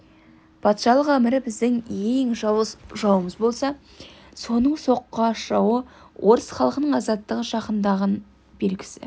патшалық әмірі біздің ең жауыз жауымыз болса соның соққыға ұшырауы орыс халқының азаттығы жақындаған белгісі